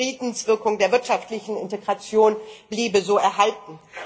Die Friedenswirkung der wirtschaftlichen Integration bliebe so erhalten.